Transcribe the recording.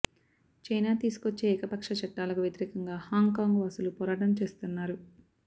China తీసుకొచ్చే ఏకపక్ష చట్టలాకు వ్యతిరేకంగా హాంగ్ కాంగ్ వాసులు పోరాటం చేస్తున్నారు